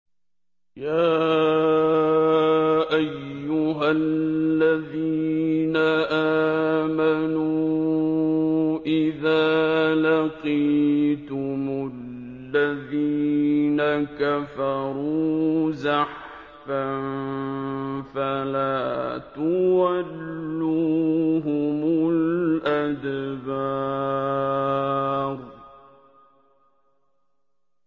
يَا أَيُّهَا الَّذِينَ آمَنُوا إِذَا لَقِيتُمُ الَّذِينَ كَفَرُوا زَحْفًا فَلَا تُوَلُّوهُمُ الْأَدْبَارَ